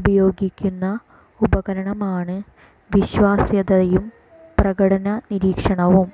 ഉപയോഗിക്കുന്ന ഉപകരണമാണ് വിശ്വാസ്യതയും പ്രകടന നിരീക്ഷണവും